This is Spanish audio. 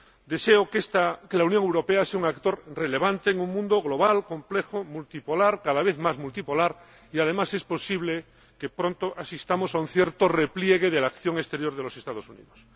Deseo que la Unión Europea sea un actor relevante en un mundo global, complejo, multipolar, cada vez más multipolar, y además es posible que pronto asistamos a un cierto repliegue de la acción exterior de los Estados Unidos.